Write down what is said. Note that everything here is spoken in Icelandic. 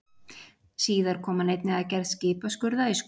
Síðar kom hann einnig að gerð skipaskurða í Skotlandi.